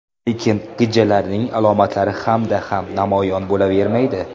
Lekin gijjalarning alomatlari hammada ham namoyon bo‘lavermaydi.